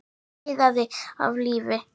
Allt iðaði af lífi.